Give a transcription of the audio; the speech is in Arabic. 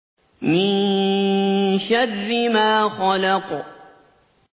مِن شَرِّ مَا خَلَقَ